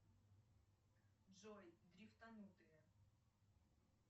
джой дрифтанутые